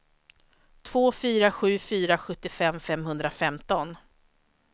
två fyra sju fyra sjuttiofem femhundrafemton